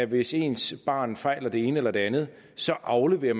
hvis ens barn fejler det ene eller det andet så afleverer